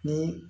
Ni